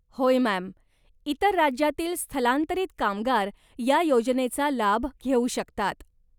होय मॅम, इतर राज्यातील स्थलांतरित कामगार या योजनेचा लाभ घेऊ शकतात.